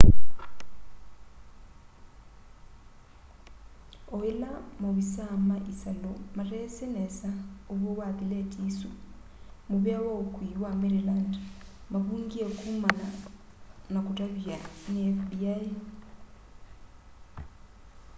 o ila maovisaa ma isalu matesi nesa uw'o wa thileti isu muvea wa ukui wa maryland mavungie kumana na kutavya ni fbi